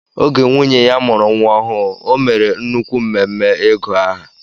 Oge nwunye ya mụrụ nwa ọhụụ o mèrè nnukwu mmemme ịgu aha.